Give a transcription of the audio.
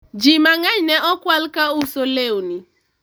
ji mang'eny ne okwal ka uso lewni